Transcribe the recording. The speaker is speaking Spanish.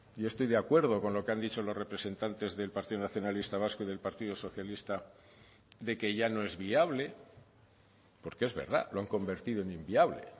yo estoy de acuerdo con lo que han dicho los representantes del partido nacionalista vasco y del partido socialista de que ya no es viable porque es verdad lo han convertido en inviable